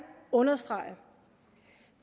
understrege